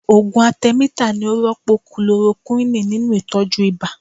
Ògùn atẹmítà ni ó rọ́pò kulorokúwìnì nínú Ìtọ́jú ibà.